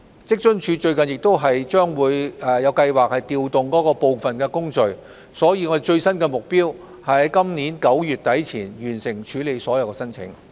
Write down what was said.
職津處最近亦有計劃調動部分工序，所以最新的目標是於今年9月底前完成處理所有申請。